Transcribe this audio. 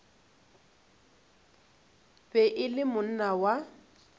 be e le monna wa